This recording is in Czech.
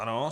Ano.